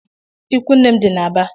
Ịkwụ nne m di n’Aba